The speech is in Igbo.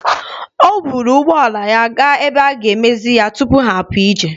O buru ụgbọ ala ya gaa n'ebe a ga-emezi ya tupu ha apụ ije.